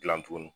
Gilan tugun